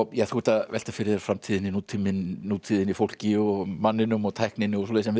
þú ert að velta fyrir þér framtíðinni nútíðinni nútíðinni fólki og manninum og tækninni og svoleiðis en við